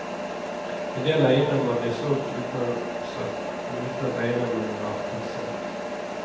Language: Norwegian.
En del eiendommer blir solgt uten annonser og uten at eiendommen var taksert.